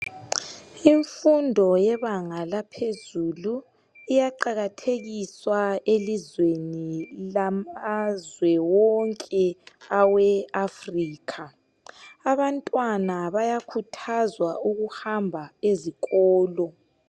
Imfundo yebanga laphezulu iyaqakathekiswa elizweni lamazwe wonke awe Africa abantwana bayakhuthazwa ukuhamba ezikolo.